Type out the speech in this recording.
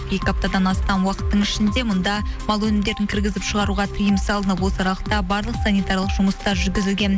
екі аптадан астам уақыттың ішінде мұнда мал өнімдерін кіргізіп шығаруға тыйым салынып осы аралықта барлық санитарлық жұмыстар жүргізілген